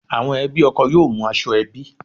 Àwọn ẹbí ọkọ yóò mú aṣọ ẹbí